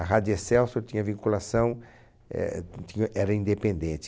A Rádio Excelsior tinha vinculação, eh tinha era independente.